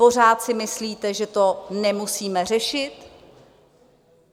Pořád si myslíte, že to nemusíme řešit?